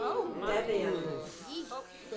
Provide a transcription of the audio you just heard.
daværende